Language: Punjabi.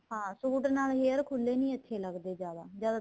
ਹਾਂ suit ਨਾਲ hair ਖੁੱਲੇ ਨਹੀਂ ਅੱਛੇ ਨਹੀਂ ਲੱਗਦੇ ਜਿਆਦਾ ਜਿਆਦਾ